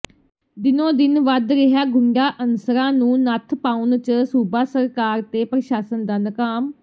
ਦਿਨੋ ਦਿਨ ਵਧ ਰਿਹਾ ਗੁੰਡਾ ਅਨਸਰਾਂ ਨੂੰ ਨੱਥ ਪਾਉਣ ਚ ਸੂਬਾ ਸਰਕਾਰ ਤੇ ਪ੍ਰਸ਼ਾਸ਼ਨ ਨਕਾਮ